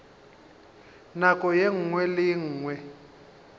nako ye nngwe le ye